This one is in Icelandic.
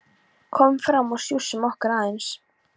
Komum fram og sjússum okkur aðeins.